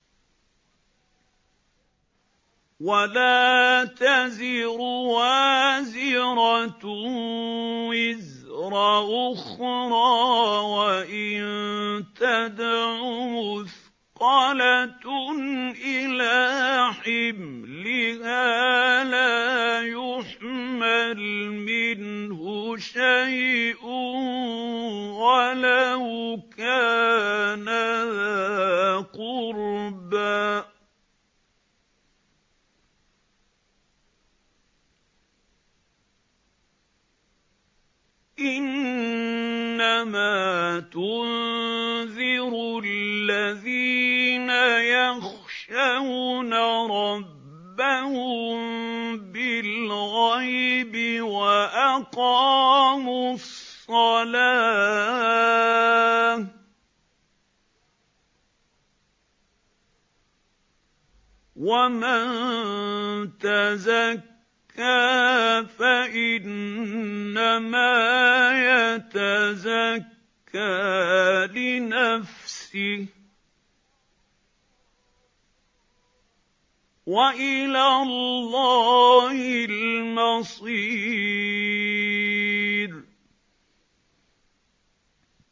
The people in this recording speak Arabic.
وَلَا تَزِرُ وَازِرَةٌ وِزْرَ أُخْرَىٰ ۚ وَإِن تَدْعُ مُثْقَلَةٌ إِلَىٰ حِمْلِهَا لَا يُحْمَلْ مِنْهُ شَيْءٌ وَلَوْ كَانَ ذَا قُرْبَىٰ ۗ إِنَّمَا تُنذِرُ الَّذِينَ يَخْشَوْنَ رَبَّهُم بِالْغَيْبِ وَأَقَامُوا الصَّلَاةَ ۚ وَمَن تَزَكَّىٰ فَإِنَّمَا يَتَزَكَّىٰ لِنَفْسِهِ ۚ وَإِلَى اللَّهِ الْمَصِيرُ